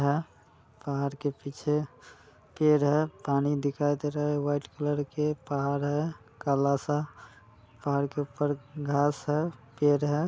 है पहाड़ के पीछे पेड़ है पानी दिखाई दे रहा है वाइट कलर के पहाड़ है काला सा पहाड़ के ऊपर घास है पेड़ है।